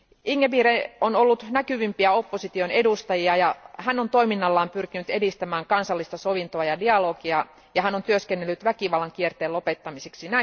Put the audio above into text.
Ingabire on ollut näkyvimpiä opposition edustajia ja hän on toiminnallaan pyrkinyt edistämään kansallista sovintoa ja dialogia ja hän on tehnyt työtä väkivallan kierteen lopettamiseksi.